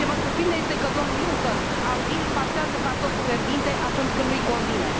Ce mă surprinde este că domnul Juncker, abil, pasează cartoful fierbinte atunci când nu i convine.